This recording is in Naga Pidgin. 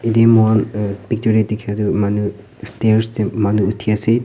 atu mur picture te dekhi tu manu stair te manu uthi ase.